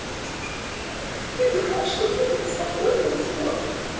ха-ха ты думаешь что ты спокойно уснёшь